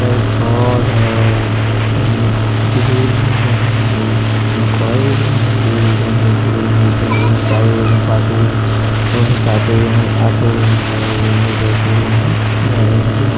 हई घर हई। हई ग्रिल हई। ओने कई गो रूम हई एगो रूम हई दुगो रूम हई तीन गो रूम हई चार गो रूम हई पाँच गो रूम छः गो रूम सातगो रूम हई आठगो रूम हई नौ गो रूम हई दसगो रूम हई ग्यारह गो रूम हई ।